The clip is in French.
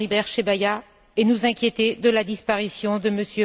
Floribert Chebeya, et nous inquiéter de la disparition de M.